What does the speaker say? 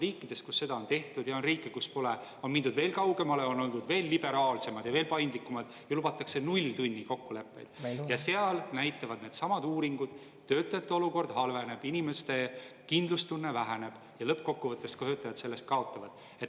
Riikides, kus seda on tehtud, ja on riike, kus pole, on mindud veel kaugemale, on oldud veel liberaalsemad ja veel paindlikumad ja lubatakse nulltunnikokkuleppeid, ja seal näitavad needsamad uuringud, töötajate olukord halveneb, inimeste kindlustunne väheneb ja lõppkokkuvõttes töötajad sellest kaotavad.